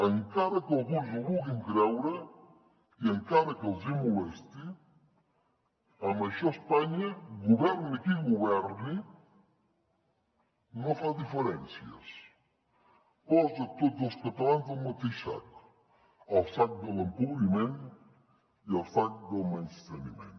encara que alguns no ho vulguin creure i encara que els hi molesti en això espanya governi qui governi no fa diferències posa tots els catalans al mateix sac al sac de l’empobriment i al sac del menysteniment